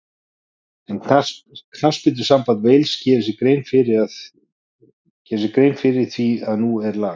En knattspyrnusamband Wales gerir sér grein fyrir því að nú er lag.